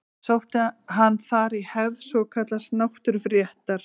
Sótti hann þar í hefð svokallaðs náttúruréttar.